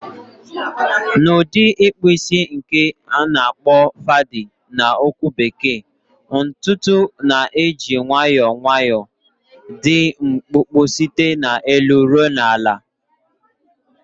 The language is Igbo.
Na udi ikpu isi nke na akpo fadi na okwu bekee, ntutu na-eji nwayọọ nwayọọ dị mkpụmkpụ site n'elu ruo na ala.